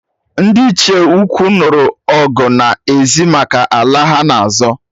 Ndị Ichie ukwu nụrụ ọgụ n'ezi maka ala ha-na azọ